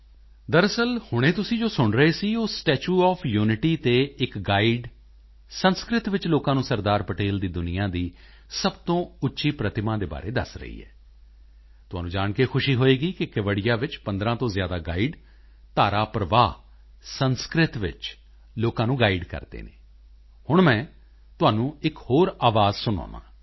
ਦਰਅਸਲ ਹੁਣੇ ਜੋ ਤੁਸੀਂ ਸੁਣ ਰਹੇ ਸੀ ਉਹ ਸਟੈਚੂ ਓਐਫ ਯੂਨਿਟੀ ਤੇ ਇੱਕ ਗਾਈਡ ਸੰਸਕ੍ਰਿਤ ਵਿੱਚ ਲੋਕਾਂ ਨੂੰ ਸਰਦਾਰ ਪਟੇਲ ਦੀ ਦੁਨੀਆ ਦੀ ਸਭ ਤੋਂ ਉੱਚੀ ਪ੍ਰਤਿਮਾ ਦੇ ਬਾਰੇ ਦੱਸ ਰਹੀ ਹੈ ਤੁਹਾਨੂੰ ਜਾਣ ਕੇ ਖੁਸ਼ੀ ਹੋਵੇਗੀ ਕਿ ਕੇਵੜੀਆ ਵਿੱਚ 15 ਤੋਂ ਜ਼ਿਆਦਾ ਗਾਈਡ ਧਾਰਾ ਪ੍ਰਵਾਹ ਸੰਸਕ੍ਰਿਤ ਵਿੱਚ ਲੋਕਾਂ ਨੂੰ ਗਾਈਡ ਕਰਦੇ ਹਨ ਹੁਣ ਮੈਂ ਤੁਹਾਨੂੰ ਇੱਕ ਹੋਰ ਆਵਾਜ਼ ਸੁਣਾਉਂਦਾ ਹਾਂ